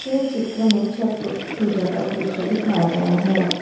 यह चित्र में छठ पु पूजा का दृश्य दिखया गया है।